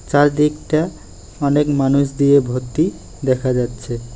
চারদিকটা অনেক মানুষ দিয়ে ভর্তি দেখা যাচ্ছে।